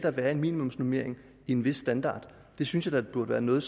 være en minimumsnormering og en vis standard det synes jeg burde være noget